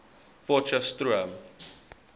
potcheftsroom